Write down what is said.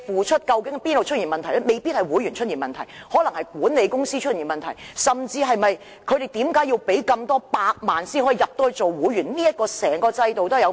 未必是會員的問題，可能是管理公司出現問題，甚至是他們須支付數百萬元才能成為會員這個制度本身存在問題。